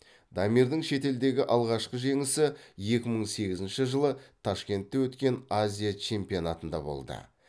дамирдің шетелдегі алғашқы жеңісі екі мың сегізінші жылы ташкентте өткен азия чемпионатында болды